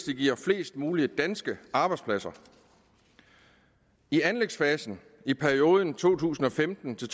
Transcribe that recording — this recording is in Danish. det giver flest mulige danske arbejdspladser i anlægsfasen i perioden to tusind og femten til